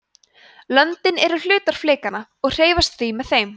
löndin eru hlutar flekanna og hreyfast því með þeim